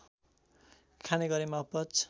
खाने गरेमा अपच